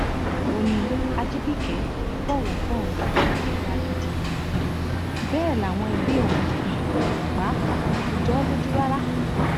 ó ní ajibike kì í bọwọ fóun ò lágídí um bẹẹ làwọn ẹbí òun um pàápàá kò jọ ọ lójú rárá